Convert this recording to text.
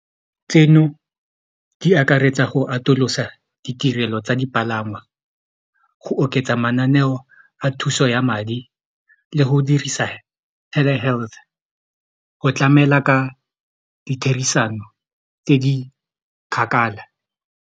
Tseno di akaretsa go atolosa ditirelo tsa dipalangwa go oketsa mananeo a thuso ya madi le go dirisa Telehealth go tlamela ka ditherisano tse di kgakala.